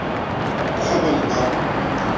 ka ha ba ne ba